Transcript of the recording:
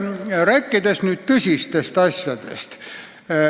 Räägime nüüd tõsistest asjadest.